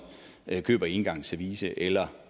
køber engangsservice eller